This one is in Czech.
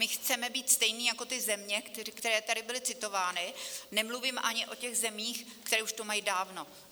My chceme být stejní jako ty země, které tady byly citovány, nemluvím ani o těch zemích, které už to mají dávno.